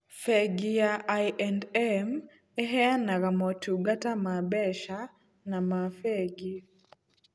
Bengi ya I&M ĩheanaga motungata ma mbeca na ma bengi.